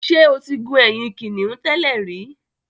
Ṣé o ti gun ẹ̀yìn kìnnìún tẹ́lẹ̀ rí.